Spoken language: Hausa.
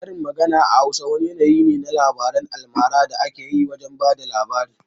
Karin magana a Hausa wani yanayi ne na labaran almara da ake yi lokacin bayar da labari.